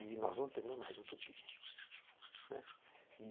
E nós não temos mais utopia.